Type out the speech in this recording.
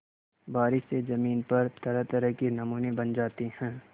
बारिश से ज़मीन पर तरहतरह के नमूने बन जाते हैं